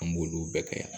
An b'olu bɛɛ kɛ yan